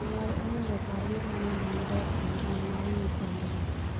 "Jonyuol onego opar gima nade maber ei ngima mar nyithindgi."